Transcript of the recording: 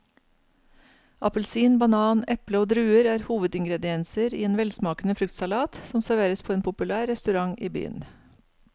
Appelsin, banan, eple og druer er hovedingredienser i en velsmakende fruktsalat som serveres på en populær restaurant i byen.